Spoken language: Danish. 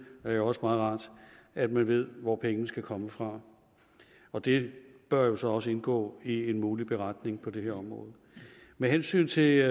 er det også meget rart at man ved hvor pengene skal komme fra og det bør også også indgå i en mulig beretning på det her område med hensyn til